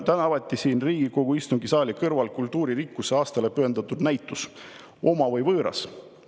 –, täna avati siin Riigikogu istungisaali kõrval kultuuririkkuse aastale pühendatud näitus "Oma või võõras?